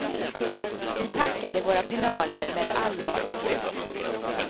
Vi packade våra pinaler med allvar och flit.